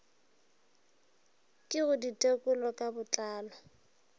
ke go ditekolo ka botlalo